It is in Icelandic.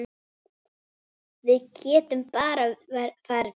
Við getum bara farið tvö.